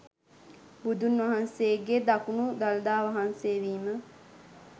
බුදුන් වහන්සේගේ දකුණු දළදා වහන්සේ වීම